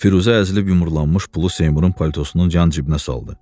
Firuzə əzilib yumrulanmış pulu Seymurun paltosunun can cibinə saldı.